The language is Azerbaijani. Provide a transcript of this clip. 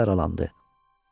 Çənəsi aralandı.